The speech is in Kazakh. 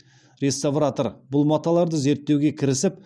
реставратор бұл маталарды зерттеуге кірісіп